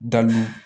Dalu